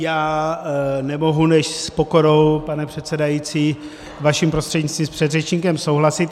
Já nemohu než s pokorou, pane předsedající, vaším prostřednictvím s předřečníkem souhlasit.